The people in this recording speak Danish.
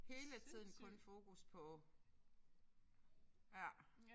Hele tiden kun fokus på ja